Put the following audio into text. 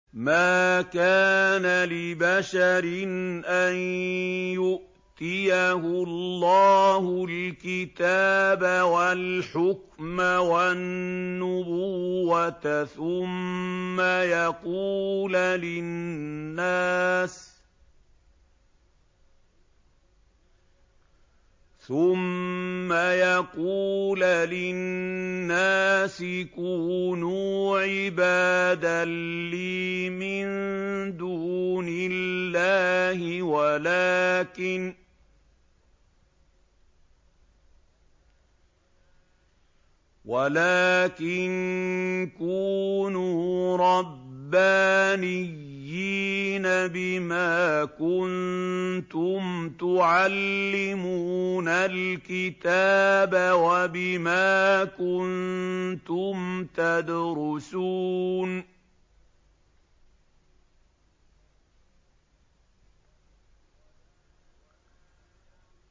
مَا كَانَ لِبَشَرٍ أَن يُؤْتِيَهُ اللَّهُ الْكِتَابَ وَالْحُكْمَ وَالنُّبُوَّةَ ثُمَّ يَقُولَ لِلنَّاسِ كُونُوا عِبَادًا لِّي مِن دُونِ اللَّهِ وَلَٰكِن كُونُوا رَبَّانِيِّينَ بِمَا كُنتُمْ تُعَلِّمُونَ الْكِتَابَ وَبِمَا كُنتُمْ تَدْرُسُونَ